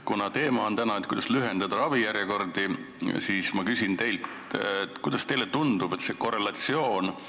Kuna tänane teema on, kuidas lühendada ravijärjekordi, siis ma küsin teilt, kuidas teile tundub, milline see korrelatsioon tegelikult on.